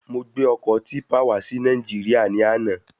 Mo gbé ọkọ típpà wá sí Nàìjíríà ní àna